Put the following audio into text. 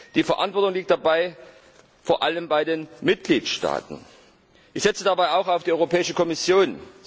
Die Verantwortung liegt dabei vor allem bei den Mitgliedstaaten. Ich setze dabei auch auf die Europäische Kommission.